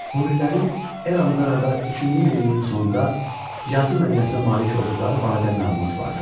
Hurilərin eramızdan əvvəl üçüncü minilliyin sonunda yazı mədəniyyətinə malik olduqları barədə məlumat vardır.